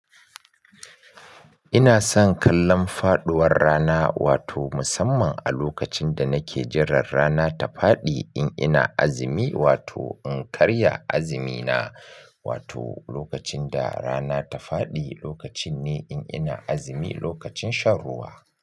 Ina son kallon faduwar rana wato musamman a lokacin da nake jiran rana ta faɗi in ina azumi wato in karya azumina. Wato lokacin da rana ta faɗi lokacin ne in ina azumi lokacin shan ruwa.